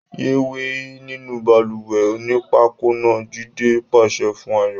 Yéé wẹ̀ nínú balùwẹ̀ onípákó náà! Jídé pàṣẹ fún Ayọ̀.